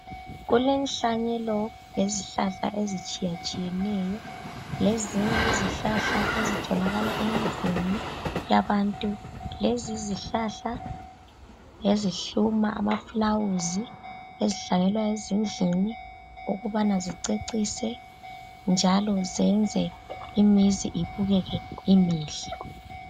Kulenhlanyelo yezihlahla ezitshiyetshiyeneyo lezinye izihlahla ezitholaka emzini yabantu ,lezi izihlahla ngezihluma amafulawuzi ezihlanyelwa ezindlini ukubana zicecise njalo zenze imizi ibukeke imihle